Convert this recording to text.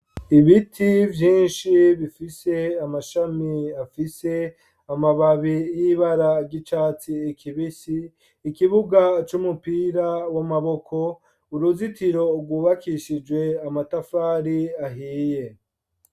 Ibiti vyinshi bifise amashami afise amababi y'ibara ry’icatsi kibisi, ikibuga c’umupira w'amaboko ,uruzitiro rwubakishijwe amatafari ahiye.